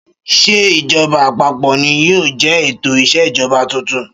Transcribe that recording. Ṣé ìjọba àpapọ̀ ni yóò jẹ́ ètò ìṣèjọba tuntun?